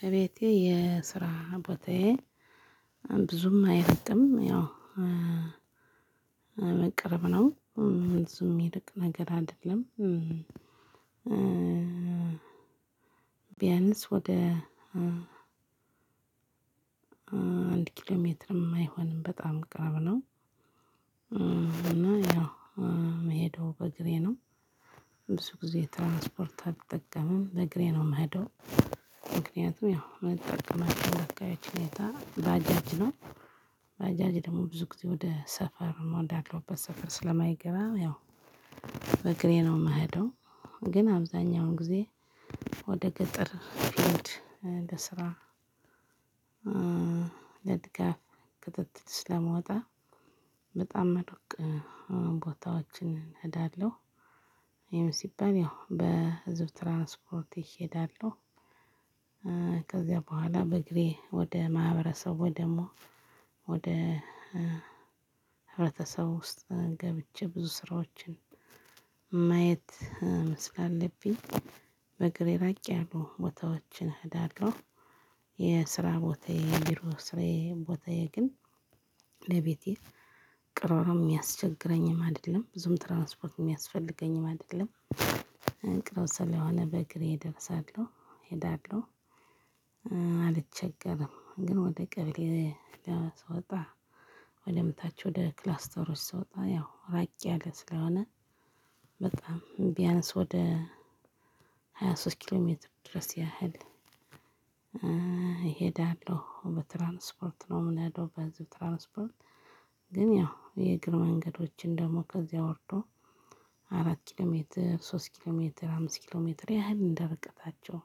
ከቤቴ የስራ ቦታዬ ብዙም አይርቅም ያው ማለት ቅርብ ነው ብዙም ሚርቅ ነገር አይደለም። ቢያንስ ወደ አንድ ኪሎ ሜትርም አይሆንም በጣም ቅርብ ነው። ያው ምሄደው በእግሬ ነው። ብዙ ጊዜ ትራንስፖርት አልጠቀምም በእግሬ ነው የምሄደው። ምክንያቱም ያው ምጠቀማቸው አካባቢዎች ሁኔታ ባጃጅ ነው ባጃጅ ደግሞ ብዙ ጊዜ ወደ ሰፈር ወዳለሁበት ሰፈር ስለማይገባ ያው በእግሬ ነው የምሄደው። ግን አብዛኛውን ጊዜ ወደ ገጠር ለስራ ለድጋፍ ክትትል ስለምወጣ በጣም ሩቅ ቦታዎችን እሄዳለሁ ይሄም ሲባል ያው በህዝብ ትራንስፖርት ይሄዳለሁ። ከዚያ በኋላ በእግሬ ወደ ማህበረሰቡ ደግሞ ወደ ህብረተሰብ ውስጥ ገብቼ ብዙ ስራዎችን ማየት ስላለብኝ በእግሬ ራቅ ያሉ ቦታዎችን እሄዳለሁ። የስራ ቦታዬ የቢሮ ስራዬ ቦታዬ ግን ለቤቴ ቅርብ ነው የሚያስቸግረኝም አይደለም ብዙም ትራንስፖርት የሚያስፈልገኝም አይደለም። ቅርብ ስለሆነ በእግሬ እደርሳለሁ እሄዳለሁ። አልቸገርም ግን ወደ ቀበሌ ስወጣ ወደታች ወደ ክላስተሮች ስወጣ ያው ራቅ ያለ ስለሆነ በጣም ቢያንስ ወደ ሃያ ሶስት ኪሎ ሜትር ድረስ ያህል እሄዳለሁ በትራንስፖርት ነው የምንሄደው በህዝብ ትራንስፖርት። ግን ያው የእግር መንገዶችም ደግሞ ከዛ ወርዶ አራት ኪሎ ሜትር ሶስት ኪሎ ሜትር አምስት ኪሎ ሜትር ያህል እንደ ርቀታቸው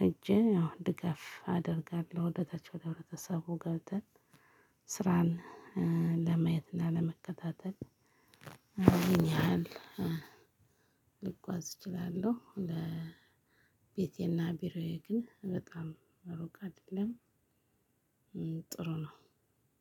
ሄጄ ያው ድጋፍ አደርጋለሁ። ወደ ታች ወደ ህብረተሰቡ ገብተን ስራን ለማየት እና ለመከታተል ይንህ ያህል ልጓዝ እችላለሁ። ለቤቴና ቢሮዬ ግን በጣም ሩቅ አይደለም። ጥሩ ነው።